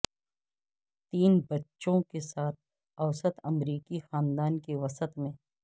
تین بچوں کے ساتھ اوسط امریکی خاندان کے وسط میں